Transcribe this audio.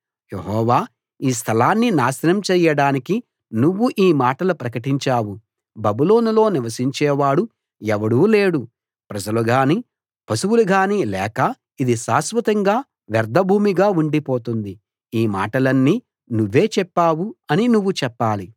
యెహోవా ఈ స్థలాన్ని నాశనం చేయడానికి నువ్వు ఈ మాటలు ప్రకటించావు బబులోనులో నివసించేవాడు ఎవడూ లేడు ప్రజలు గానీ పశువులుగానీ లేక ఇది శాశ్వతంగా వ్యర్ధభూమిగా ఉండిపోతుంది ఈ మాటలన్నీ నువ్వే చెప్పావు అని నువ్వు చెప్పాలి